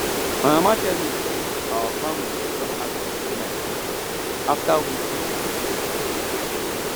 my mama tell me say our family don agree to pay my school fees after wetin um i do